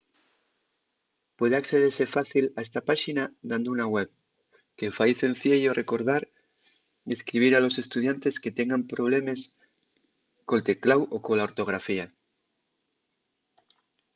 puede accedese fácil a esta páxina dando una web que fai cenciello recordar y escribir a los estudiantes que tengan problemes col tecláu o cola ortografía